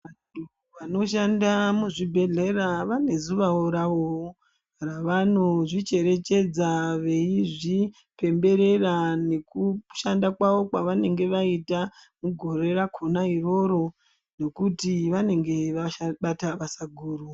Vanoshanda muzvibhehleya vane zuva ravowo ravonozvicherechedza veizvipemberera nekushanda kwawo kwavanenge vaita mugore rakona iroro nekuti vanenge vashanda basa guru.